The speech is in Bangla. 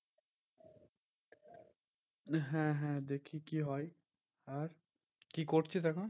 হ্যাঁ হ্যাঁ দেখি কি হয়? আর কি করছিস এখন?